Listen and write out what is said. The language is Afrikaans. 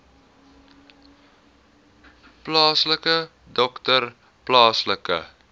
plaaslike dokter plaaslike